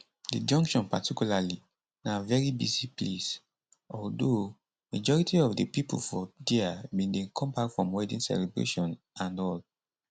di junction particularly na veri busy place although majority of di pipo for dia bin dey come back from wedding celebration and all